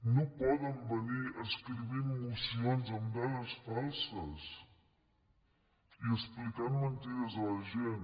no poden venir escrivint mocions amb dades falses i explicant mentides a la gent